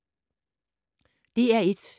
DR1